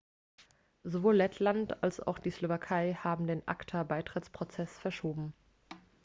sowohl lettland als auch die slowakei haben den acta-beitrittsprozess verschoben